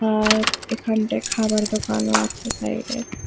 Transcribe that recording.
আর এখানটায় খাবার ও আছে সাইড -এ।